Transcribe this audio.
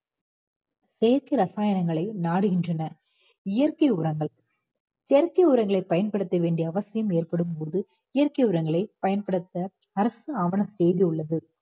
செயற்கை ரசாயனங்களை நாடுகின்றனர் இயற்கை உரங்கள் செயற்கை உரங்களை பயன்படுத்த வேண்டிய அவசியம் ஏற்படும் போது இயற்கை உரங்களை பயன்படுத்த அரசு ஆவண செய்துள்ளது